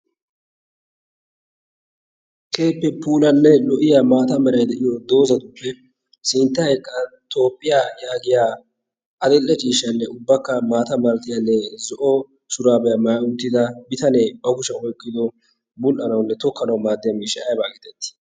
keehippe pulanne lo77iya maata marai de7iyo doozatuppe sintta eqa toppiyaa yaagiya adil77e chiishshanne ubbakka maata maratiyaa ne zo7o shuraabiyaa maai uttida bitanee ba kushiyan oiqqido bul77anawunne tokkanawu maaddiya miishshaa aibaa giitettii?